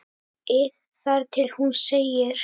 ið þar til hún segir